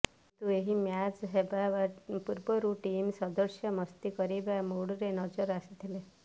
କିନ୍ତୁ ଏହି ମ୍ୟାଚ ହେବା ପୂର୍ବରୁ ଟିମ୍ ସଦସ୍ୟ ମସ୍ତି କରିବା ମୁଡରେ ନଜର ଆସିଥିଲେ